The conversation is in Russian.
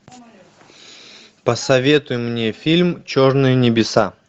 посоветуй мне фильм черные небеса